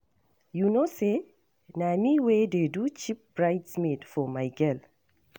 You know say na me wey dey do Chief bride's maid for my girl.